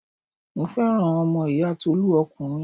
Mo fẹ́ràn ọmọ ìyá Tolú ọkùnrin.